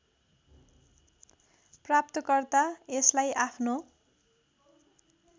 प्राप्तकर्ता यसलाई आफ्नो